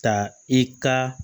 Ka i ka